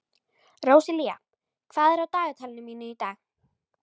Róselía, hvað er á dagatalinu mínu í dag?